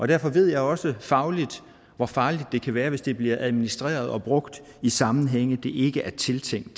derfor ved jeg også fagligt hvor farligt det kan være hvis det bliver administreret og brugt i sammenhænge det ikke er tiltænkt